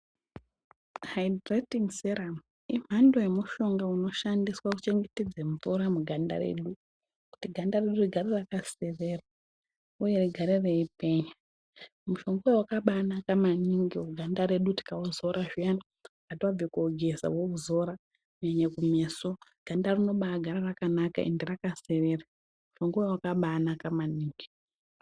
Painiraitin'i seramu imhando yemushonga unoshandiswa kuchengetedze mvura muganda redu kuti ganda redu rigare rakaserera uye rigare reipenya. Mushonga uyu wakabaanaka maningi muganda redu tikauzora zviyani kana tabve koogeza wouzora, kunyanya kumeso, ganda rinobaagara rakanaka ende rakaserera. Mushongawo wakabaanaka maningi.